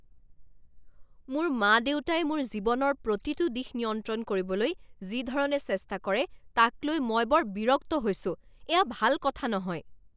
মোৰ মা দেউতাই মোৰ জীৱনৰ প্ৰতিটো দিশ নিয়ন্ত্ৰণ কৰিবলৈ যি ধৰণে চেষ্টা কৰে তাক লৈ মই বৰ বিৰক্ত হৈছোঁ। এয়া ভাল কথা নহয়।